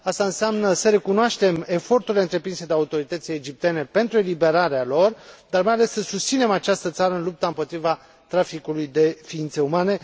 Asta înseamnă să recunoaștem eforturile întreprinse de autoritățile egiptene pentru eliberarea lor dar, mai ales, să susținem această țară în lupta împotriva traficului de ființe umane.